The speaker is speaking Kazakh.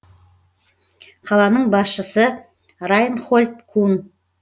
қаланың басшысы райнхольд кун